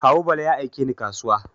Kawu Bala ya aike ni kasuwa.